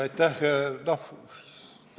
Aitäh!